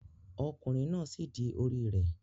Ọkunrin náà dì sí orí rẹ